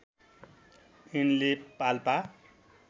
यिनले पाल्पा